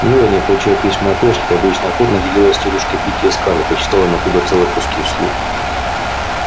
мелани получая письма от эшли обычно охотно делилась с тётушкой питти и скарлетт и читала им оттуда целые куски вслух